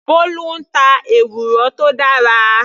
Bolu ń ta ewúro tó dára.